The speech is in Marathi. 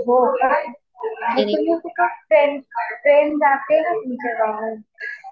हो का. ट्रेन जाते का तुमच्या गावाला?